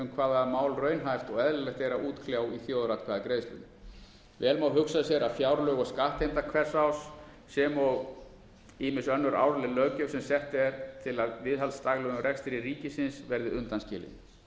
hvaða mál raunhæft og eðlilegt er að útkljá í þjóðaratkvæðagreiðslum vel má hugsa sér að fjárlög og skattheimta hvers árs sem og ýmis önnur árleg löggjöf sem sett er árlega til viðhalds daglegum rekstri ríkisins verði undanskilin